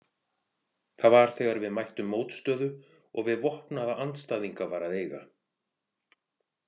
Það var þegar við mættum mótstöðu og við vopnaða andstæðinga var að eiga.